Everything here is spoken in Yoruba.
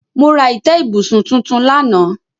Mo ra ìtẹ́ ibùsùn tuntun lánàá.